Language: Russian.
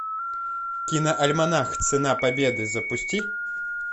киноальманах цена победы запусти